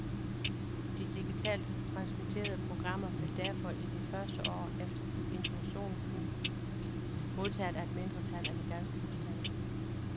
De digitalt transmitterede programmer vil derfor i de første år efter introduktionen kun blive modtaget af et mindretal af de danske husstande.